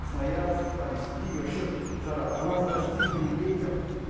красноярск там в сибири вообще жара а у нас дожди были ветер